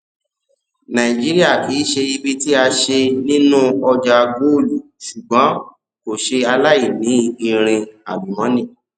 nàìjíríà kii ṣe ibi tí a ṣe nínú ọjà góòlù ṣùgbọn kò ṣe aláìní irin àlùmọnì